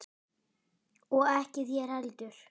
Og ekki þér heldur!